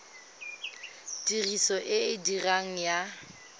tiriso e e diregang ya